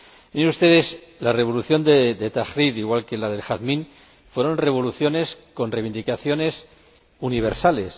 Miren ustedes, la revolución de Tahrir, igual que la del Jazmín, fueron revoluciones con reivindicaciones universales.